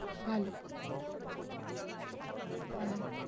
ভালো। হ্যাঁ।